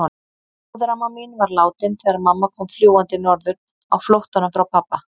Móðuramma mín var látin þegar mamma kom fljúgandi norður á flóttanum frá pabba.